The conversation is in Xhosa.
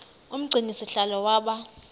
umgcini sihlalo waba